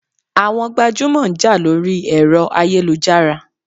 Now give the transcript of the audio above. Àwọn gbajúmọ̀ ń jà lórí ẹ̀rọ ayélujára.